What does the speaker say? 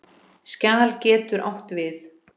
Skjal getur átt við